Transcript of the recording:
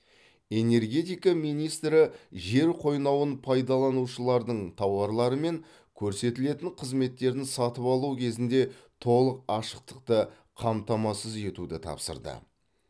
энергетика министрі жер қойнауын пайдаланушылардың тауарлары мен көрсетілетін қызметтерін сатып алу кезінде толық ашықтықты қамтамасыз етуді тапсырды